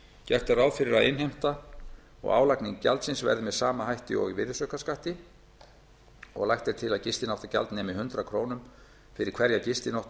gert er ráð fyrir að innheimta og álagning gjaldsins verði með sama hætti og í virðisaukaskatti lagt er til að gistináttagjald nemi hundrað krónur fyrir hverja gistinótt á